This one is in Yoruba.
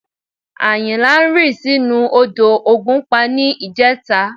Àyìnlá rì sínú odò ògùnpa ní ìjẹta